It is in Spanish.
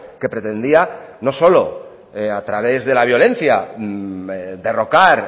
que pretendía no solo a través de la violencia derrocar